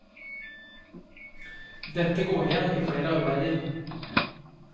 Dette går igjen i flere arbeider.